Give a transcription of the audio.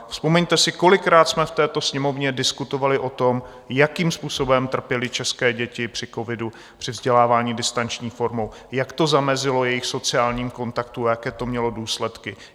Vzpomeňte si, kolikrát jsme v této Sněmovně diskutovali o tom, jakým způsobem trpěly české děti při covidu, při vzdělávání distanční formou, jak to zamezilo jejich sociálním kontaktům a jaké to mělo důsledky.